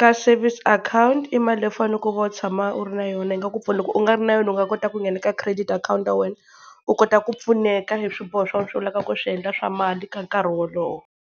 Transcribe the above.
ka savings akhawunti i mali leyi u fanekele u tshama u ri na yona yi nga ku pfuna. Loko u nga ri na yona u nga kota ku nghena ka credit akhawunti ya wena u kota ku pfuneka hi swiboho swa wena leswi u lavaka ku swi endla swa mali ka nkarhi wolowo.